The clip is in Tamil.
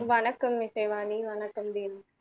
வணக்கம் இசைவாணி வணக்கம் தேவ்